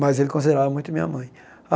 Mas ele considerava muito a minha mãe.